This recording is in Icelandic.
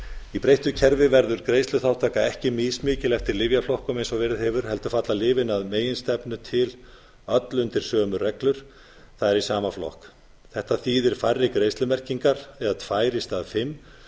í breyttu kerfi verður greiðsluþátttaka ekki mismikil eftir lyfjaflokkum eins og verið hefur heldur falla lyfin að meginstefnu til öll undir sömu reglur á í sama flokk þetta þýðir hærri greiðslumerkingar eða tvær í stað fimm